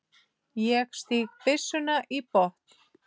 Ég stíg byssuna í botn.